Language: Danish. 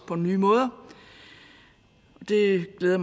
på nye måder det glæder